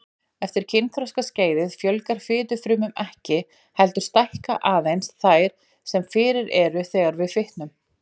Afsakanirnar eru hans megin, fyrir nú utan að drykkja er karlmannleg, samkvæmt hefðinni.